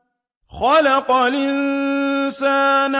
خَلَقَ الْإِنسَانَ